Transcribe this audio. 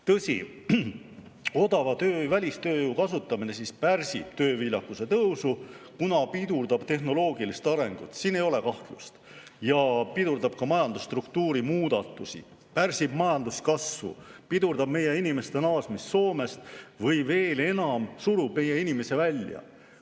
Tõsi, odava välistööjõu kasutamine pärsib tööviljakuse tõusu, kuna pidurdab tehnoloogilist arengut – siin ei ole kahtlust –, ja pidurdab ka majandusstruktuuri muudatusi, pärsib majanduskasvu, pidurdab meie inimeste naasmist Soomest või veel enam, surub meie inimesi välja.